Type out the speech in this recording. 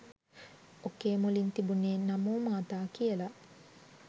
ඔකේ මුලින් තිබුනේ නමෝ මාතා කියල